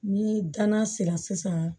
Ni danna sera sisan